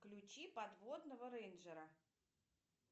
включи подводного рейнджера